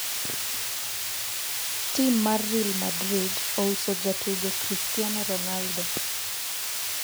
tim mar real madrid ouso jatugo christiano Ronaldo